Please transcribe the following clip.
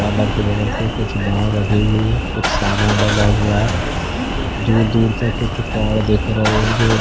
तालाब के बगल से कुछ नाव लगे हुए है कुछ सामान डला हुआ है दूर-दूर तक कुछ पहाड़ दिख रहे है जो --